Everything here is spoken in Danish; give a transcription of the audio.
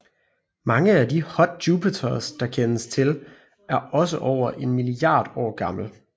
Mange af de hot Jupiters der kendes til er også over en milliard år gammel